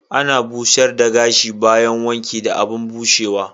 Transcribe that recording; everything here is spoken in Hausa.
Ana busher the gashi bayan wanki da abun bushewa.